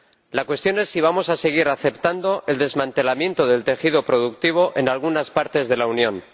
La cuestión es si vamos a seguir aceptando el desmantelamiento del tejido productivo en algunas partes de la Unión.